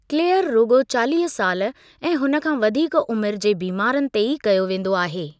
Clear रुगो॒ चालीह साल ऐं हुन खां वधीक उमिरि जे बीमारनि ते ई कयो वेंदो आहे।